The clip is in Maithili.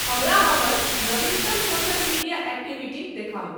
हमरा हमर नवीनतम सोशल मीडिया एक्टिविटी देखाउ